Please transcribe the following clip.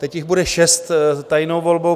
Teď jich bude šest tajnou volbou.